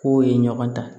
K'o ye ɲɔgɔn ta